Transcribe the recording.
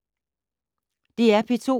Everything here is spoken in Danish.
DR P2